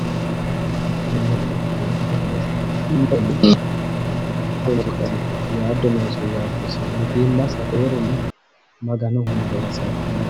Maga'ninanni mineeti yaaddo noosihu mitiimmasi mare maganoho hasaaphanno mineeti.